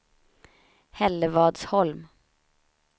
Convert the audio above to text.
Hällevadsholm